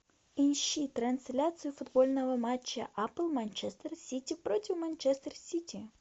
ищи трансляцию футбольного матча апл манчестер сити против манчестер сити